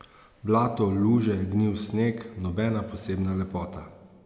Blato, luže, gnil sneg, nobena posebna lepota.